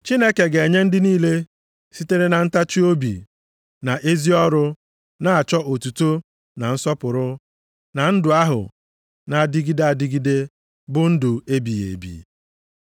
Chineke ga-enye ndị niile sitere na ntachiobi na ezi ọrụ na-achọ otuto na nsọpụrụ na ndụ ahụ na-adịgide adịgide bụ ndụ ebighị ebi.